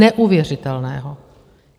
Neuvěřitelného.